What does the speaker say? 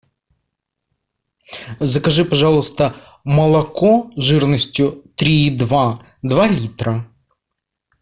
закажи пожалуйста молоко жирностью три и два два литра